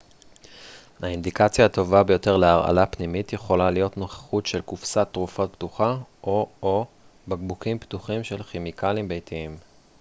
האינדיקציה הטובה ביותר להרעלה פנימית יכולה להיות נוכחות של קופסת תרופות פתוחה או או בקבוקים פתוחים של כימיקלים ביתיים